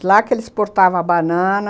De lá que eles exportavam a banana.